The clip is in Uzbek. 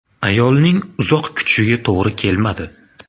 Ayolning uzoq kutishiga to‘g‘ri kelmadi.